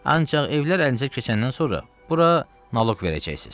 Ancaq evlər əlinizə keçəndən sonra bura naloq verəcəksiz.